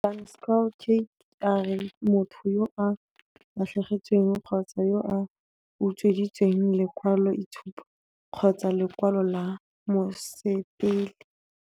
Van Schalkwyk a re motho yo a latlhegetsweng kgotsa yo a utsweditsweng lekwaloitshupo kgotsa lekwalo la mosepele.